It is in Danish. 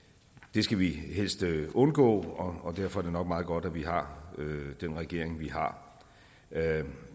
det skal vi helst undgå og derfor er det nok meget godt at vi har den regering vi har